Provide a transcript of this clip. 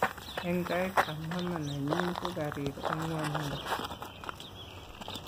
eng tait ab mama nenyin ko karir eng ngwanindo